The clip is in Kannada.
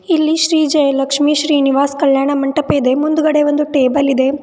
ಇಲ್ಲಿ ಶ್ರೀ ಜಯಲಕ್ಷ್ಮಿ ಶ್ರೀನಿವಾಸ್ ಕಲ್ಯಾಣ ಮಂಟಪ ಇದೆ ಮುಂದ್ಗಡೆ ಒಂದು ಟೇಬಲ್ ಇದೆ.